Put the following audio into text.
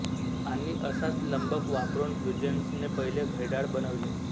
आणि असाच लंबक वापरून ह्युजेन्सने पहिले घड्याळ बनवले